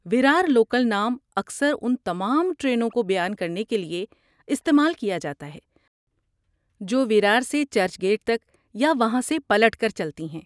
Virar local نام اکثر ان تمام ٹرینوں کو بیان کرنے کے لیے استعمال کیا جاتا ہے جو ویرار سے چرچ گیٹ تک یا وہاں سے پلٹ کر چلتی ہیں۔